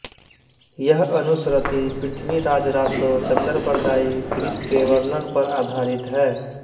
यह अनुश्रति पृथ्वीराजरासो चंदरबरदाई कृत के वर्णन पर आधारित है